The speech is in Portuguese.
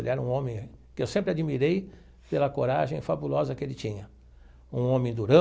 Ele era um homem que eu sempre admirei pela coragem fabulosa que ele tinha, um homem durão,